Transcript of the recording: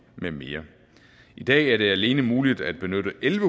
med mere i dag er det alene muligt at benytte en